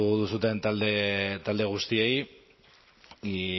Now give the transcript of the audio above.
duzuten talde guztiei y